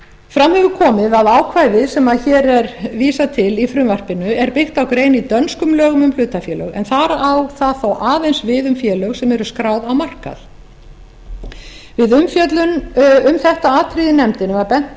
fram hefur komið að ákvæðið sem hér er vísað til í frumvarpinu er byggt á grein í dönskum lögum um hlutafélög en þar á það þó aðeins við um félög sem eru skráð á markað við umfjöllun um þetta atriði í nefndinni var bent